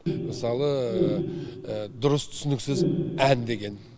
мысалы дұрыс түсініксіз ән деген